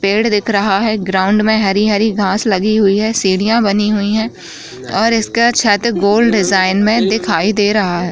पेड़ दिख रहा है ग्राउंड में हरी-हरी घास लगी हुई है सीढ़ियां बनी हुई हैं और इसका छत गोल डिज़ाइन में दिखाई दे रहा है।